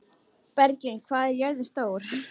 Bjarglind, hvað er jörðin stór?